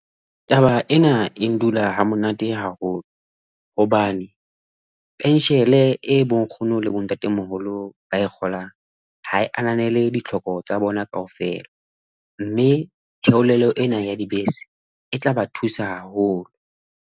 Taba ena e dula ha monate haholo hobane penshele e bonkgono le bontate moholo ba kgolang ha e ananele ditlhoko tsa bona kaofela mme theolelo ena ya dibese e tla ba thusa haholo.